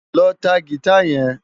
Lò tá gitá yèn